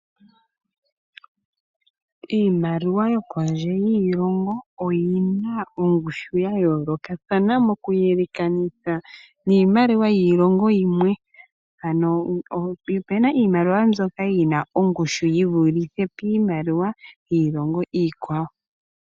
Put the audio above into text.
Iimaliwa yokondje yiilongo oyi na ongushu ya yoolokathana mokuyelekanitha niimaliwa yiilongo yimwe. Opu na iimaliwa mbyoka yi na ongushu yi vulithe pongushu yiimaliwa yiilongo iikwawo.